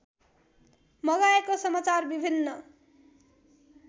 मगाएको समाचार विभिन्न